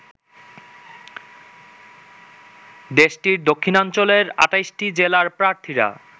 দেশটির দক্ষিণাঞ্চলের ২৮টি জেলার প্রার্থীরা